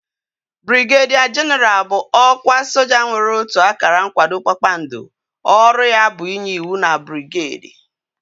Brigedia jenaral bụ ọkwa soja nwere otu akara nkwado kpakpando ọrụ ya bụ inye ịwụ na brigedi